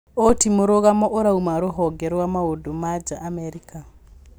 Ũũ ti mũrũgamo ũrauma rũhonge rwa maũndũ ma nja Amerika